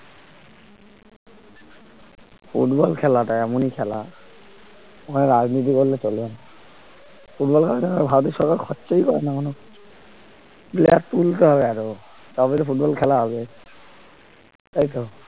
football খেলাটা এমনই খেলা ওখানে রাজনীতি করলে চলবে না ফুটবল খেলার জন্য ভারতের সরকার খরচাই করে না কোন player তুলতে হবে আরো তবে তো ফুটবল খেলা হবে তাই তো